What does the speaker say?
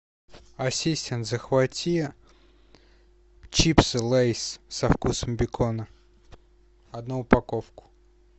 ассистент захвати чипсы лейс со вкусом бекона одну упаковку